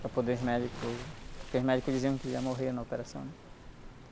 para poder os médicos... Porque os médicos diziam que ele ia morrer na operação.